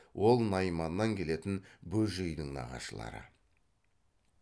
ол найманнан келетін бөжейдің нағашылары